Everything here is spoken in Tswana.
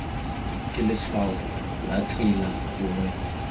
ke letshwao la tsela gongwe